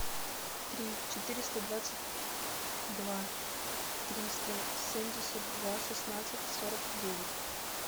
три четыреста двадцать два триста семьдесят два шестнадцать сорок девять